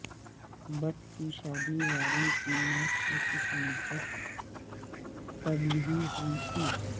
بتھ کی شادی وارن کی موت سے کچھ مدت قبل ہی ہوئی تھی